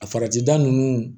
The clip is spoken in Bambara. A farati da ninnu